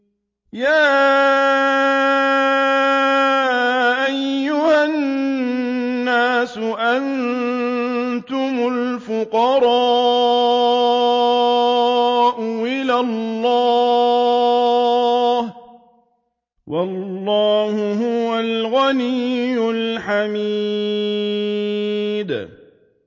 ۞ يَا أَيُّهَا النَّاسُ أَنتُمُ الْفُقَرَاءُ إِلَى اللَّهِ ۖ وَاللَّهُ هُوَ الْغَنِيُّ الْحَمِيدُ